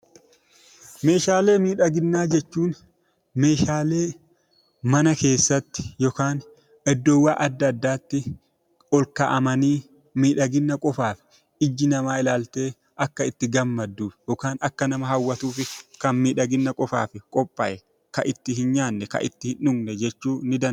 Meeshaalee miidhaginaa jechuun meeshaalee mana keessatti yookaan iddoowwan adda addaatti ol kaa'amanii miidhagina qofaaf ijji namaa ilaaltee akka itti gammaddu yookaan akka nama hawwatuuf kan miidhagina qofaaf qophaa'e, kan itti hin nyaanne, kan itti hin dhugne jechuu ni dandeenya.